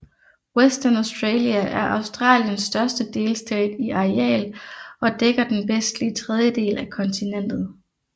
Western Australia er Australiens største delstat i areal og dækker den vestlige tredjedel af kontinentet